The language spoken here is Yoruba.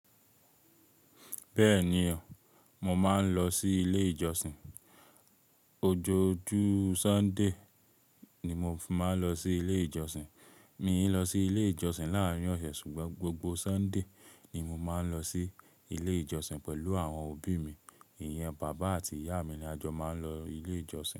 Bẹ́ẹ̀ni o, mo máa ń lọ sí ilé ìjọsìn. Ojojú Sunday ni mo máa ń lọ sí ilé ìjọsìn. Mi ò lọ sí ilé ìjọsìn láàárín ọ̀sẹ̀ ṣùgbọ́n gbogbo Sunday ni mo máa ń lọ sí ilé ìjọsìn pẹ̀lú àwọn òbí mi. Ìyẹn bàbá àti ìyá mi ni a jọ máa ń lọ ilé ìjọsìn.